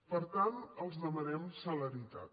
per tant els demanem celeritat